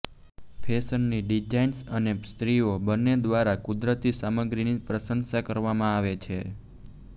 ફેશનની ડિઝાઇનર્સ અને સ્ત્રીઓ બંને દ્વારા કુદરતી સામગ્રીની પ્રશંસા કરવામાં આવે છે